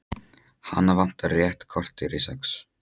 Hana vantar rétt kortér í sex.